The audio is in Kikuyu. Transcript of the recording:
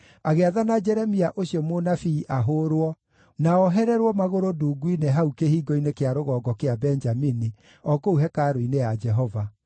agĩathana Jeremia ũcio mũnabii ahũũrwo na oohererwo magũrũ ndungu-inĩ hau Kĩhingo-inĩ kĩa Rũgongo kĩa Benjamini, o kũu hekarũ-inĩ ya Jehova.